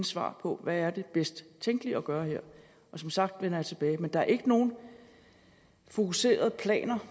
svar på hvad der er det bedst tænkelige at gøre her og som sagt vender jeg tilbage men der er ikke nogen fokuserede planer